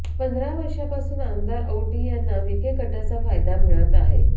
पंधरा वर्षांपासून आमदार औटी यांना विखे गटाचा फायदा मिळत आहे